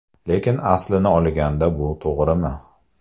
Lekin aslini olganda bu to‘g‘rimi?